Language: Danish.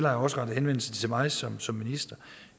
har rettet henvendelse til mig som som minister